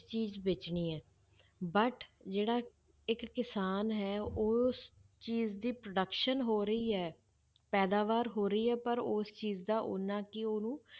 ਚੀਜ਼ ਵੇਚਣੀ ਹੈ but ਜਿਹੜਾ ਇੱਕ ਕਿਸਾਨ ਹੈ ਉਸ ਚੀਜ਼ ਦੀ production ਹੋ ਰਹੀ ਹੈ, ਪੈਦਾਵਾਰ ਹੋ ਰਹੀ ਹੈ ਪਰ ਉਸ ਚੀਜ਼ ਦਾ ਓਨਾ ਕੀ ਉਹਨੂੰ